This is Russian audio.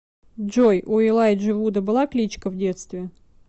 джой у элайджи вуда была кличка в детстве